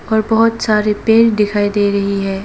और बहोत सारी पेर दिखाई दे रही है।